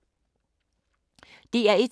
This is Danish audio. DR1